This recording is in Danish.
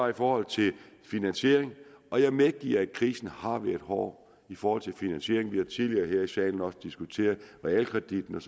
i forhold til finansieringen og jeg medgiver at krisen har været hård i forhold til finansieringen vi har tidligere her i salen diskuteret realkreditten